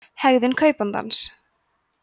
hegðun kaupandans